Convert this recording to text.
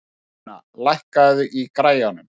Kolfinna, lækkaðu í græjunum.